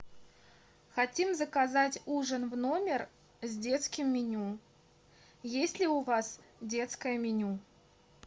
хотим заказать ужин в номер с детским меню есть ли у вас детское меню